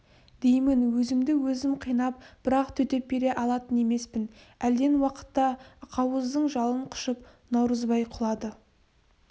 деймін өзімді өзім қинап бірақ төтеп бере алатын емеспін әлден уақытта ақауыздың жалын құшып наурызбай құлады